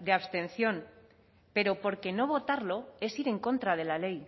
de abstención pero porque no votarlo es ir en contra de la ley